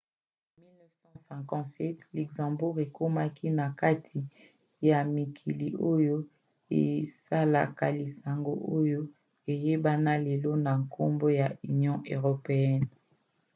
na 1957 luxembourg ekomaki na kati ya mikili oyo esalaki lisanga oyo eyebana lelo na nkombo ya union européenne